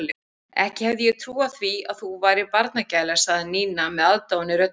Ekki hefði ég trúað því að þú værir barnagæla sagði Nína með aðdáun í röddinni.